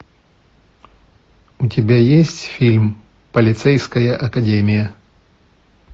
у тебя есть фильм полицейская академия